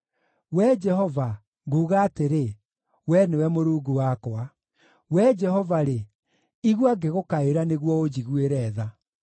Wee Jehova, nguuga atĩrĩ, “Wee nĩwe Mũrungu wakwa.” Wee Jehova-rĩ, igua ngĩgũkaĩra nĩguo, ũnjiguĩre tha.